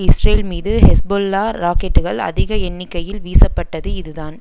Israel மீது Hezbollah ராக்கெட்டுக்கள் அதிக எண்ணிக்கையில் வீசப்பட்டது இதுதான்